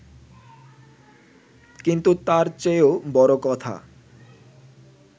কিন্তু তার চেয়েও বড় কথা